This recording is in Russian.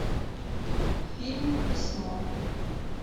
фильм письмо